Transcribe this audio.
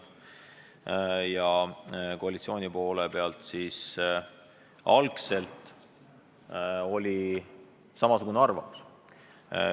Koalitsioonis oli esialgu samasugune arvamus.